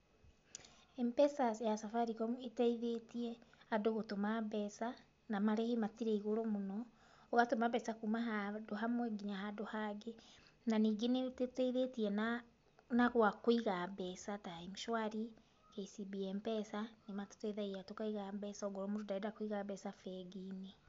MPESA ya Safaricom ĩteithĩtie, andũ gũtũma mbeca na marĩhi matirĩ igũrũ mũno. Ũgatũma mbeca kuma handũ hamwe nginya handũ hangĩ. Na ningĩ nĩ ĩtũteithĩtie na na gwa kũiga mbeca ta M-Shwari, KCB M-Pesa, nĩ matũteithitie tũakiga mbeca ongorwo mũndũ ndarenda kũiga mbeca bengi-inĩ.